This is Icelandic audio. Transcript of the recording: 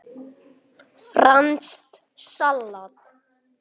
Franskt salat